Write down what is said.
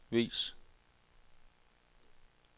vis